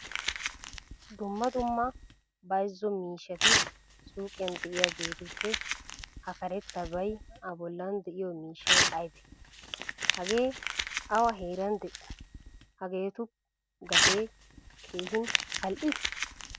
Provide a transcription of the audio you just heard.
Dumma dumma bayzzo miishshati suuqiyan de'iyageetuppe ha karettabay a bollan de'iyo miishshay aybee? Hagee awa heeran de'ii? Hageetu gate keehin al"ii?